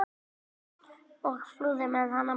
og flúði með hana burt.